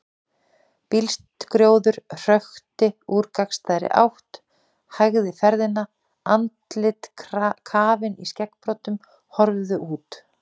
Bílskrjóður hökti úr gagnstæðri átt, hægði ferðina, andlit kafin í skeggbroddum horfðu út.